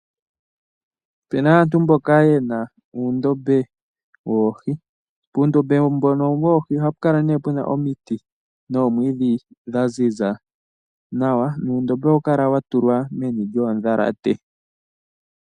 Opena aantu mbono yena uundombe woohi. Puundombe mpano ohapu kala puna omiti nohawu kala wa tulwa meni lyoodhalate.